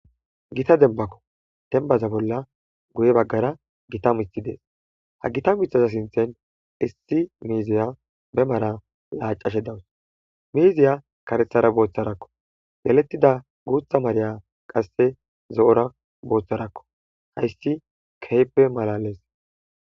gita denbakko tenbaza bolla guye baggara gita mithi dees ha gita muithaza sinthen issi miiziya be mara laacashe dawus miiziya karethara booththarakko yalettida guutha mariya qasse zo7ora booththarakko hayssi keeppe malales